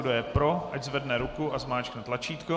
Kdo je pro, ať zvedne ruku a zmáčkne tlačítko.